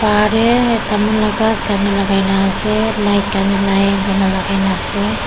bahar tey tamul la ghas khanwi lagai na ase light khan wi line kurina lagai na ase.